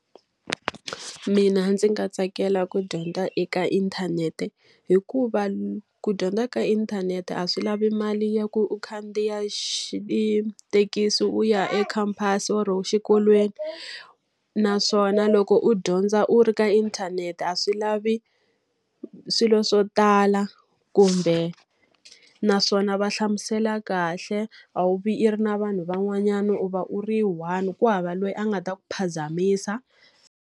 Mina ndzi nga tsakela ku dyondza eka inthanete. Hikuva ku dyondza ka inthanete a swi lavi mali ya ku u khandziya thekisi u ya ekhamphasi or exikolweni. Naswona loko u dyondza u ri ka inthanete a swi lavi swilo swo tala, kumbe naswona va hlamusela kahle, a wu vi i ri na vanhu van'wanyana u va u ri one ku hava loyi a nga ta ku phazamisa.